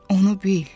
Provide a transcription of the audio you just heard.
Onu bil.